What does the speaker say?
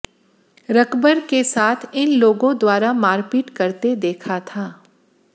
रकबर के साथ इन लोगों द्वारा मारपीट करते देखा था